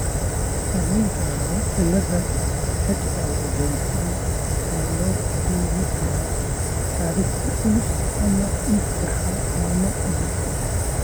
Haweenka qaba cilladda XI waxay sidoo kale la kulmi karaan caado culus ama dhiig-baxa dhalmada ka dib.